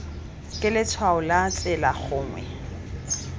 ke letshwao la tsela gongwe